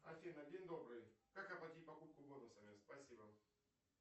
афина день добрый как оплатить покупку бонусами спасибо